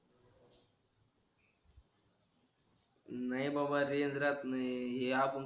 नाही बाबा रे रेंज राहत नाही हे आपुन